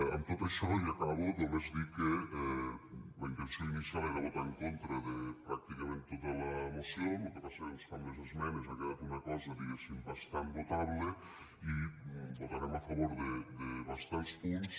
amb tot això i ja acabo només dir que la intenció inicial era votar en contra de pràcticament tota la moció lo que passa que doncs amb les esmenes ha quedat una cosa diguéssim bastant votable i votarem a favor de bastants punts